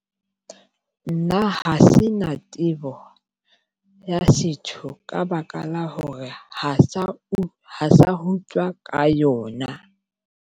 Nna ha se na tsebo ya setho, ka baka la hore ha sa yona.